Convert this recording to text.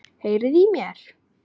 Heyriði í mér?